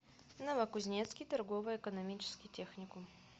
новокузнецкий торгово экономический техникум